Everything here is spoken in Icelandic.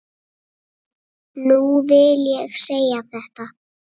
Nú vil ég segja þetta.